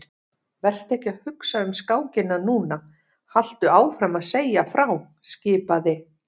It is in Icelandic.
Vertu ekki að hugsa um skákina núna, haltu áfram að segja frá skipaði